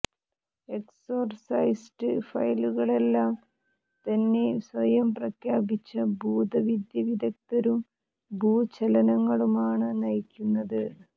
exorcist ഫയലുകളെല്ലാം തന്നെ സ്വയം പ്രഖ്യാപിച്ച ഭൂതവിദ്യ വിദഗ്ധരും ഭൂചലനങ്ങളുമാണ് നയിക്കുന്നത്